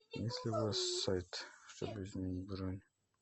есть ли у вас сайт чтобы изменить бронь